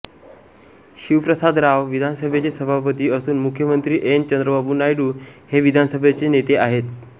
शिवप्रसाद राव विधानसभेचे सभापती असून मुख्यमंत्री एन चंद्रबाबू नायडू हे विधानसभेचे नेते आहेत